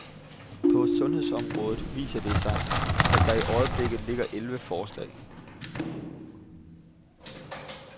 På sundhedsområdet viser det sig, at der i øjeblikket ligger elleve forslag.